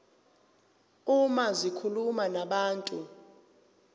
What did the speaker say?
uma zikhuluma nabantu